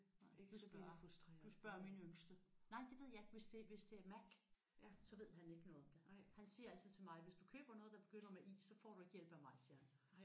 Du kan spørge. Du spørger min yngste. Nej det ved jeg ikke hvis det hvis det er Mac så ved han ikke noget om det. Han siger altid til mig hvis du køber noget der begynder med i så får du ikke hjælp af mig siger han